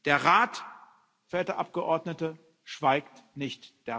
Der Rat, verehrte Abgeordnete, schweigt nicht.